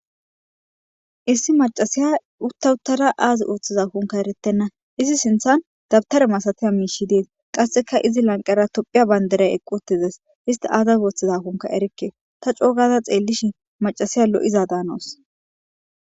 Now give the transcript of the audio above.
Issi macashiya uta utada aazi othizakonka eretena, izi sinthan dawutare masatiza mishy Des, qaseka izi lanqera tophiya Bandray eqi utides, isti azis oothodakonka erike , ta co gada xeelishn macasiya lo'iza danawus.